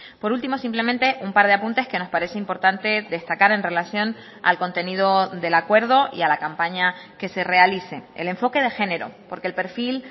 por último simplemente un par de apuntes que nos parece importante destacar en relación al contenido del acuerdo y a la campaña que se realice el enfoque de género porque el perfil